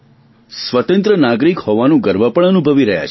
સ્વતંત્ર નાગરીક હોવાનો ગર્વ પણ અનુભવી રહ્યા છીએ